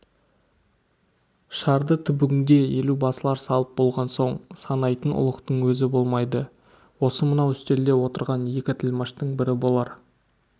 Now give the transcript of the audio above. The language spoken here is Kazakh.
шарды түбіңде елубасылар салып болған соң санайтын ұлықтың өзі болмайды осы мынау үстелде отырған екі тілмаштың бірі болар